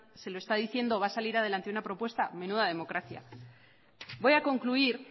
se lo está diciendo va a salir adelante una propuesta menuda democracia voy a concluir